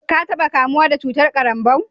ka taba kamuwa da cutar karanbou?